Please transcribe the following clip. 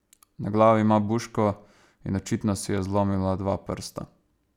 Na glavi ima buško in očitno si je zlomila dva prsta.